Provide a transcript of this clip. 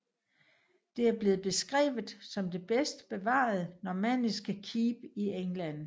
Det er blevet beskrevet som det bedst bevarede normanniske keep i England